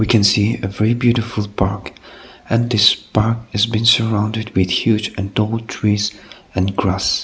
we can see a very beautiful park and this park has been surrounded with huge and tall trees and grass.